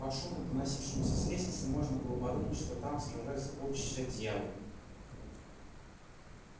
по шуму доносившемуся с лестницы можно было подумать что там сражаются полчища дьяволов